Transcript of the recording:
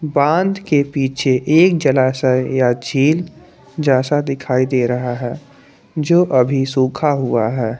बांध के पीछे एक जलाशय या झील जैसा दिखाई दे रहा है जो अभी सूखा हुआ है।